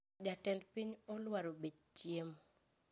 Jatend piny olwaro bech chiemo